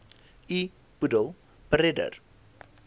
u boedel beredder